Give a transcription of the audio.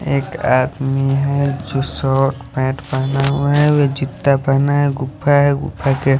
एक आदमी है जो शर्ट पैंट पहना हुआ है और वह चित्ता बना है गुफा है--